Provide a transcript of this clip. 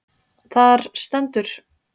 Þar stendur: